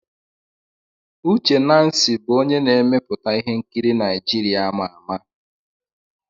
Uche Nancy bụ onye na-emepụta ihe nkiri Naijiria ama ama.